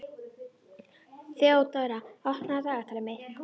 Þeódóra, opnaðu dagatalið mitt.